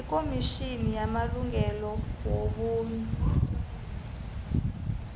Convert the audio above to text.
ikomitjhini yamalungelo wobuntu